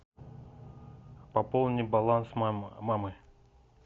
пополни баланс мамы